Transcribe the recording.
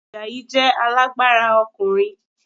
Àjàyí jẹ alágbára ọkùnrin